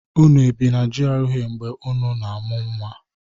Unu ebi na GRA mgbe unu na-amụ nnwa?